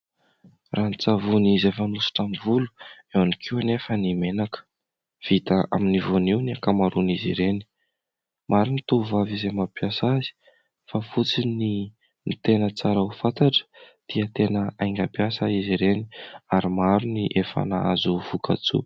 Ranon-tsavony izay fanosotra amin'ny volo, eo ihany koa anefa ny menaka vita amin'ny voanio ny ankamaroany izy ireny, maro ny tovovavy izay mampiasa azy fa fotsy ny tena tsara ho fantatra dia tena aingam-piasa izy ireny ary maro ny efa nahazo vokatsoa.